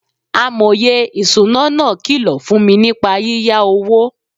Amòye ìṣúná náà kìlọ̀ fún mi nípa yíyá owó.